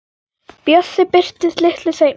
Bjössi birtist litlu seinna.